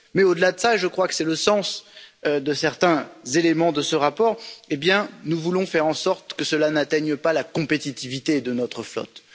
Au delà de cela et je crois que c'est le sens de certains éléments de ce rapport nous voulons faire en sorte que cela n'atteigne pas la compétitivité de notre flotte.